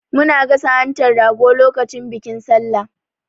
Muna gasa hantan rago lokacin bikin Sallah.